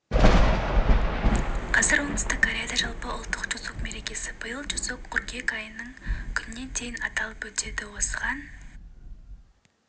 қазір оңтүстік кореяда жалпыұлттық чусок мерекесі биыл чусок қыркүйек айының күнінен күніне дейін аталып өтеді осыған